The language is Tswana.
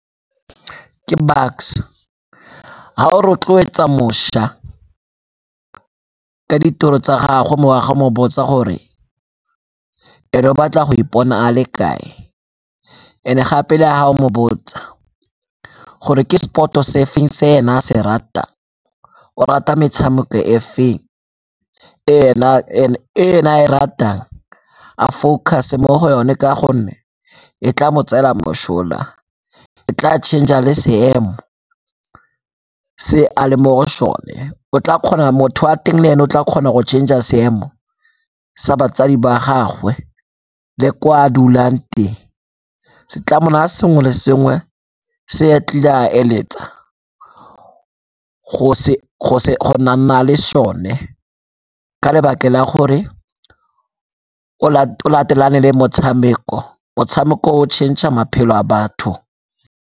Ke Bucks-e, ha o rotloetsa mošwa ka ditiro tsa gagwe, mme o a ga mo botsa gore ene o batla go ipona a le kae and-e gape le ha a o mo botsa gore ke sport-o se feng se ena a se ratang. O rata metshameko e feng e ena a e ratang, a focus-e mo go yone ka gonne e tla mo tsela mosola, e tla change-a le seemo se a le mo go sone. O tla kgona motho wa teng le ene o tla kgona go change-a seemo sa batsadi ba gagwe le ko a dulang teng. Se tla mo naya sengwe le sengwe se a tlile a eletsa le sone ka lebaka la gore o latelane le motshameko, motshameko o o change-a maphelo a batho.